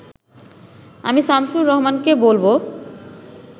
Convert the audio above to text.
আমি শামসুর রাহমানকে বলব